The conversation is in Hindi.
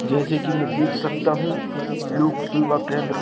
जैसे कि मैं देख सकता हूं लोक सेवा केंद्र।